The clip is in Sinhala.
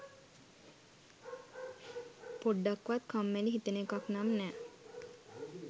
පොඩ්ඩක්වත් කම්මැලි හිතෙන එකක් නම් නෑ.